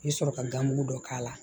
I bɛ sɔrɔ ka gan mugu dɔ k'a la